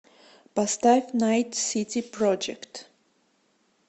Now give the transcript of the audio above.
поставь найт сити проджект